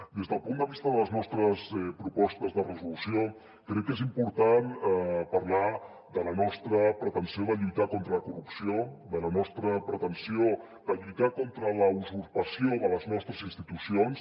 des del punt de vista de les nostres propostes de resolució crec que és important parlar de la nostra pretensió de lluitar contra la corrupció de la nostra pretensió de lluitar contra la usurpació de les nostres institucions